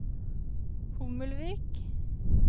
Hommelvik